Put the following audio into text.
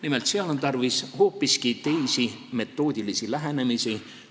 Nimelt, seal on tarvis hoopis teisi metoodilisi lähenemisi.